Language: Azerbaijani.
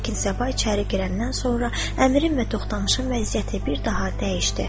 Lakin Səba içəri girəndən sonra Əmirin və Toxtamışın vəziyyəti bir daha dəyişdi.